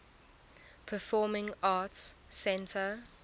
performing arts center